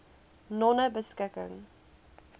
nonebeskikking